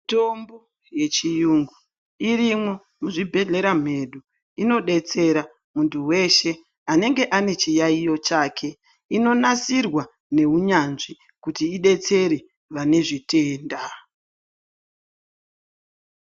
Mitombo yechirungu irimo muzvibhedhlera mwedu inodetsera muntu weshe anenge ane chiyaiyo chake inonasirwa Nehunyanzvi kuti idetsere pane zvitenda.